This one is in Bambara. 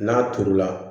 N'a turu la